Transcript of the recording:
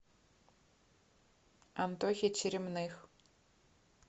антохе черемных